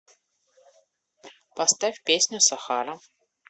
поставь песню сахара